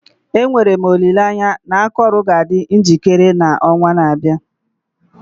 Enwere m olileanya na akọrọ ga-adị njikere n'ọnwa na-abịa.